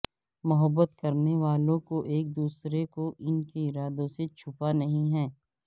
محبت کرنے والوں کو ایک دوسرے کو ان کے ارادوں سے چھپا نہیں ہے